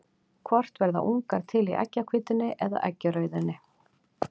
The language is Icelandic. Hvort verða ungar til í eggjahvítunni eða eggjarauðunni?